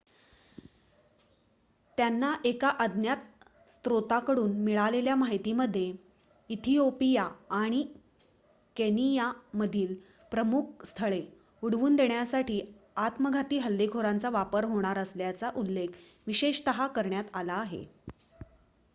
"त्यांना एका अज्ञात स्त्रोताकडून मिळालेल्या माहितीमध्ये इथिओपिया आणि केनियामधील "प्रमुख स्थळे" उडवून देण्यासाठी आत्मघाती हल्लेखोरांचा वापर होणार असल्याचा उल्लेख विशेषतः करण्यात आला आहे.